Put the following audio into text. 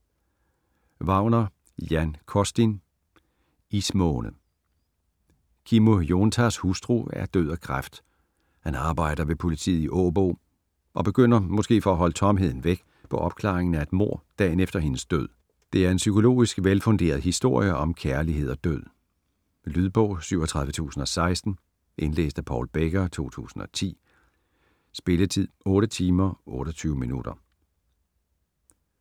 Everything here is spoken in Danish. Wagner, Jan Costin: Ismåne Kimmo Joentaas hustru er død af kræft. Han arbejder ved politiet i Åbo, og begynder, måske for at holde tomheden væk, på opklaringen af et mord dagen efter hendes død. Det er en psykologisk velfunderet historie om kærlighed og død. Lydbog 37016 Indlæst af Paul Becker, 2010. Spilletid: 8 timer, 28 minutter.